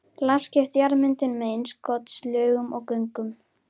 Lagskipt jarðmyndun með innskotslögum og göngum.